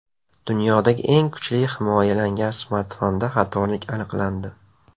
Dunyoda eng kuchli himoyalangan smartfonda xatolik aniqlandi.